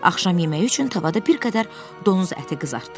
Axşam yeməyi üçün tavada bir qədər donuz əti qızartdılar.